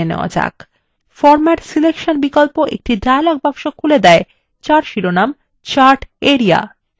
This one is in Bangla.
format selection বিকল্প একটি dialog box খুলে দেয় যার শিরোনাম chart area